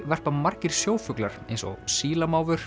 verpa margir sjófuglar eins og